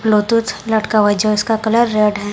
Bluetooth लटका हुआ जो इसका कलर रेड है।